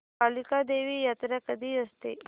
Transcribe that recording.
कालिका देवी यात्रा कधी असते